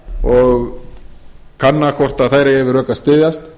og kanna hvort þær eigi við rök að styðjast